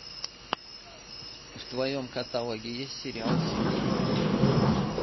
в твоем каталоге есть сериал симпсоны